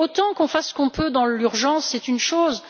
Qu'on fasse ce que l'on peut dans l'urgence, c'est une chose